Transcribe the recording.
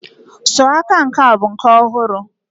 sọ aka nke a bụ nke ọhụrụ.